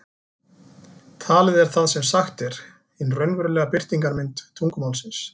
Talið er það sem sagt er, hin raunverulega birtingarmynd tungumálsins.